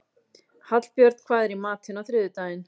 Hallbjörn, hvað er í matinn á þriðjudaginn?